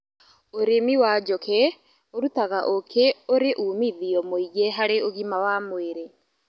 ũrĩmĩwa njũkĩũrũtaga ũkí ũrĩũmithio mũĩngĩharĩũgima wa mwĩrĩ